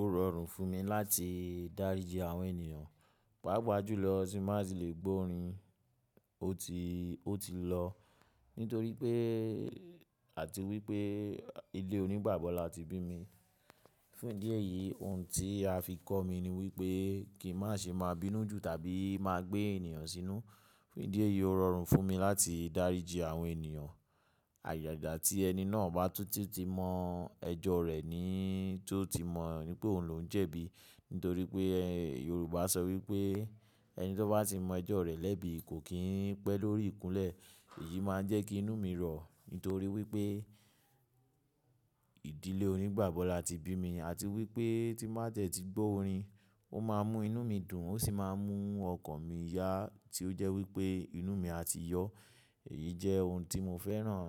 Ó rọrùn fún mi láti dáríji àwọn ènìyàn. Páápàá jùlọ tí n bá ti lè gbọ́ orin, ó ti, ó ti lọ. Nítorí pé àti wípé ilé onígbàgbọ́ la ti bí mi. Fún ìdí èyí, ohun tí a fi kọ́ mi ni wípé kí n má ṣe máa bínú jù tàbí máa gbé ènìyàn sínú. Fún ìdí èyí ó rọrùn fún mi láti dáríji àwọn ènìyàn. Àjàjà tí ẹni náà bá túńtún ti mọ ẹjọ́ rẹ̀ ni tó ti mọ̀ wípé òun ló ń jẹ̀bi. Nítorí pé Yorùbá sọ wípé ẹni tó bá ti mọ ẹjọ́ rẹ̀ lẹ́bi kò kín pẹ́ lórí ìkúnlẹ̀. Èyí máa ń jẹ́ kí inú mi rọ̀. Nítorí wípé ìdílé onígbàgbọ́ la ti bí mi. Àti wípé tí n bá tie tí gbọ́ orin, ó máa ń mú inú mi dùn, ó sì máa ń mú ọkàn mi yá tí ó jẹ́ wípé inú mi á ti yọ. Èyí jẹ́ ohun tí mo fẹ́ràn